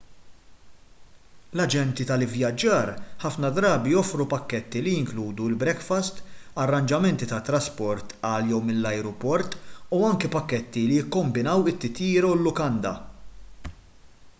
l-aġenti tal-ivvjaġġar ħafna drabi joffru pakketti li jinkludu l-brekfast arranġamenti tat-trasport għal/minn l-ajruport u anki pakketti li jikkombinaw it-titjira u l-lukanda